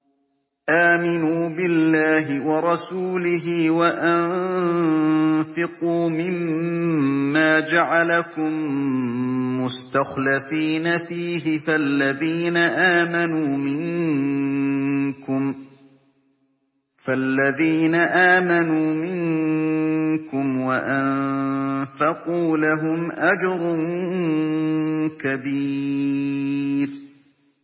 آمِنُوا بِاللَّهِ وَرَسُولِهِ وَأَنفِقُوا مِمَّا جَعَلَكُم مُّسْتَخْلَفِينَ فِيهِ ۖ فَالَّذِينَ آمَنُوا مِنكُمْ وَأَنفَقُوا لَهُمْ أَجْرٌ كَبِيرٌ